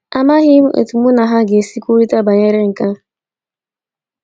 Amaghị m otu mụ na ha ga - esi kwurịta banyere nke a. ”